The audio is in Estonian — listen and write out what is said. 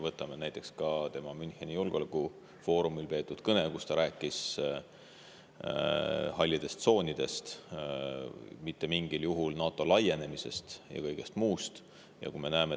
Võtame näiteks tema kõne Müncheni julgeolekufoorumil, kus ta rääkis hallidest tsoonidest, sellest, et NATO mitte mingil juhul ei peaks laienema, ja kõigest muust sellisest.